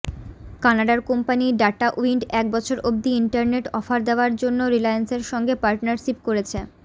কানাডার company Datawind এক বছর অব্দি ইন্টারনেট অফার দেওয়ার জন্য রিলায়েন্সের সঙ্গে পার্টনারশিপ করেছে